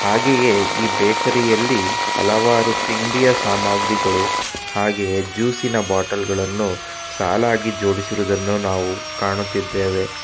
ಹಾಗೆಯೆ ಈ ಬೇಕರಿ ಯಲ್ಲಿ ಹಲವಾರು ತಿಂಡಿಯ ಸಾಮಗ್ರಿಗಳು ಹಾಗೆಯೆ ಜ್ಯೂಸಿ ನ ಬಾಟಲ ಗಳನ್ನು ಸಾಲಾಗಿ ಜೋಡಿಸಿರುವುದನ್ನು ನಾವು ಕಾಣುತ್ತಿದ್ದೇವೆ.